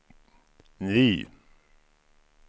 ny